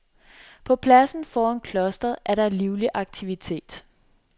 På pladsen foran klostret er der livlig aktivitet.